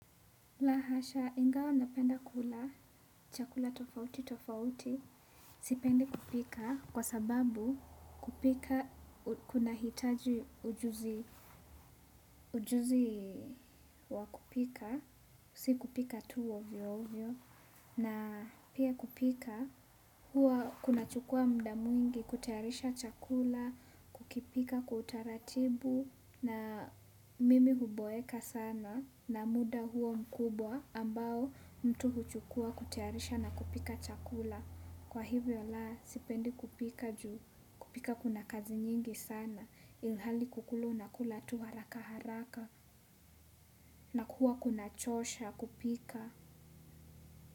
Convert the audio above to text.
Lahasha, ingawa napenda kula, chakula tofauti tofauti, sipendi kupika, kwa sababu kupika, kuna hitaji ujuzi, ujuzi wa kupika, si kupika tu ovyo ovyo, na pia kupika, huwa kuna chukua mda mwingi, kutayarisha chakula, kukipika, kutaratibu, na mimi huboeka sana na muda huo mkubwa ambao mtu huchukuwa kutayarisha na kupika chakula kwa hivyo, la sipendi kupika juu kupika kuna kazi nyingi sana ilhali kukula unakula tu haraka haraka. Na kuwa kuna chosha kupika.